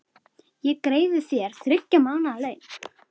Ég greiði þér þriggja mánaða laun.